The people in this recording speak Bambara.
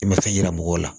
I ma fɛn yira mɔgɔw la